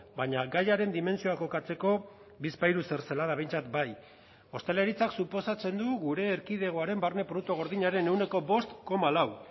baina gaiaren dimentsioa kokatzeko bizpahiru zertzelada behintzat bai ostalaritzak suposatzen du gure erkidegoaren barne produktu gordinaren ehuneko bost koma lau